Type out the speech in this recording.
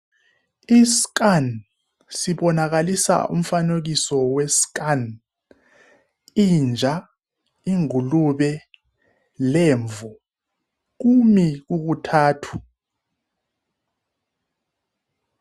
I scan sibonakaliso umfanekiso we scan. Inja ingulube lemvu . Kumi kukuthathu.